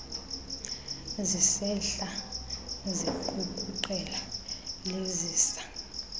zisehla ziqukuqela lezisa